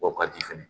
O ka di fɛnɛ